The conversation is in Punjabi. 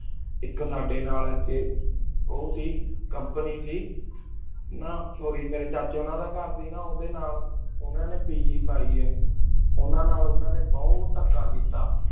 ਏਕ ਸਾਡੀ ਨਾਲ ਓਸਿ company ਸੀ ਨਾ sorry ਮ੍ਵੇਈ ਚਾਚੀ ਉਨਾ ਦਾ ਕਰ ਸੀ ਨਾ ਉਨਾ ਡੀ ਉਦਯ ਨਾਲ ਉਨਾ ਨੀ ਪੀਜੀ ਪੈ ਆਯ ਉਨਾ ਨੀ ਉਨਾ ਨਾਲ ਬੁਭ੍ਤ ਆਚਾ ਕੀਤਾ